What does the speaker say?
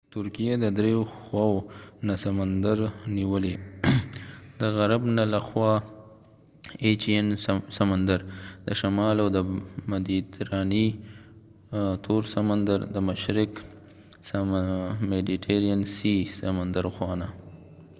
ترکېه د درې خواوو نه سمندر نیولی : د ایچېن سمندر aegean sea د غرب له خوا تور سمندر black sea دشمال او د مديترانی سمندرmediterranean sea د مشرق د خوانه